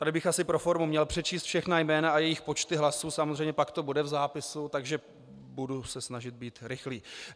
Tady bych asi pro formu měl přečíst všechna jména a jejich počty hlasů, samozřejmě pak to bude v zápise, takže se budu snažit být rychlý.